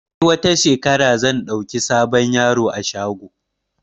Sai wata shekarar zan ɗauki sabon yaro a shago